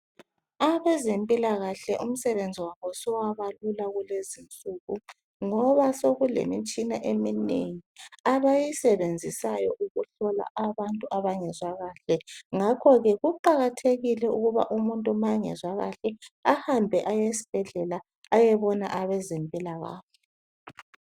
Abezempilakahle umsebenzi wabo sewabalula kulezinsuku ngoba seku lemitshina eminengi abayisebenzisayo ukuhlola abantu abangezwa kahle. Ngakho ke kuqakathekile ukuba umuntu ma engezwa kahle ahambe esibhedlela ayebona abezempilakahle.